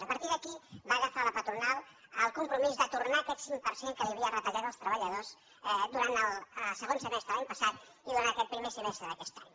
a partir d’aquí va agafar la patronal el compromís de tornar aquest cinc per cent que havia retallat als treballadors durant el segon semestre de l’any passat i durant aquest primer semestre d’aquest any